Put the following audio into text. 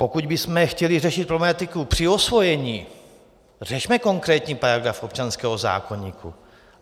Pokud bychom chtěli řešit problematiku při osvojení, řešme konkrétní paragraf občanského zákoníku.